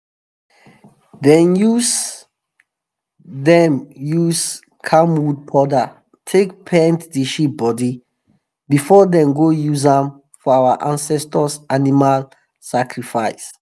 dem use dem use camwood powder take paint the sheep body before them go use am for our ancestor animal sacrifice.